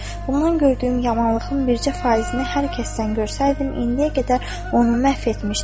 Bundan gördüyüm yamanlığın bircə faizini hər kəsdən görsəydim, indiyə qədər onu məhv etmişdim.